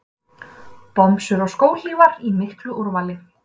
Bomsur og skóhlífar í miklu úrvali.